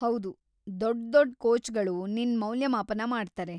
ಹೌದು, ದೊಡ್ದೊಡ್ ಕೋಚ್‌ಗಳು ನಿನ್ ಮೌಲ್ಯಮಾಪನ ಮಾಡ್ತಾರೆ.